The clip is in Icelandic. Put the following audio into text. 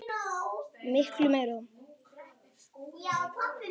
Miklu meira